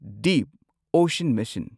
deep ocean mission